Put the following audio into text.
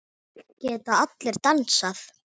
Geta allir dansað?